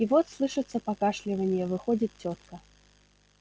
и вот слышится покашливание выходит тётка